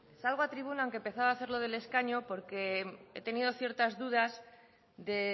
salgo a tribuna aunque pensaba hacerlo del escaño porque he tenido ciertas dudas de